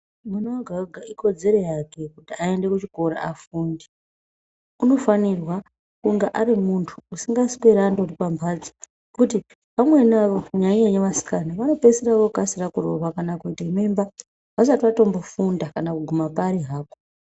Mwana vega-vega ikodzero yake kuti aende kuchikora afunde. Unofanirwa kunga ari muntu asikasweri andori pamhatso. Kuti vamweni vavo kunyanya-nyanya vasikana vanokasire kuroorwa kana kuite mimba, vasati vatombofunda kana kuguma pari hapo.